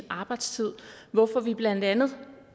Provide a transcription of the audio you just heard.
arbejdstider hvorfor vi blandt andet hører